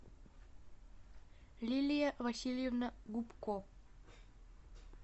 лилия васильевна губко